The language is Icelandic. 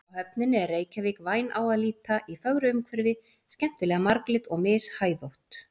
Frá höfninni er Reykjavík væn á að líta, í fögru umhverfi, skemmtilega marglit og mishæðótt.